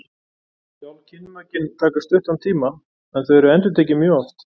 Sjálf kynmökin taka stuttan tíma en þau eru endurtekin mjög oft.